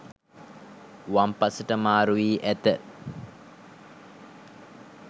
වම් පසට මාරුවී ඇත.